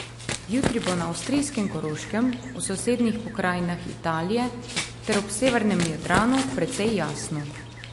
Jutri bo na avstrijskem Koroškem, v sosednjih pokrajinah Italije ter ob severnem Jadranu precej jasno.